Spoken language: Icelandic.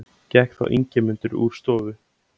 Gekk þá Ingimundur úr stofu.